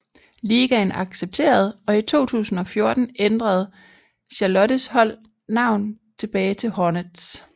Ligaen accepterede og i 2014 ændrede Charlottes hold navn tilbage til Hornets